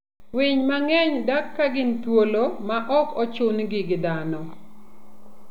Winy mang'eny dak ka gin thuolo ma ok ochun-gi gi dhano.